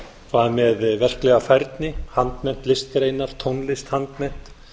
hvað með verklega færni handmennt listgreinar tónlist handmennt